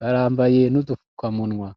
barambaye n'udufukamunwa